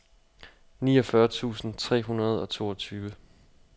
niogfyrre tusind tre hundrede og toogtyve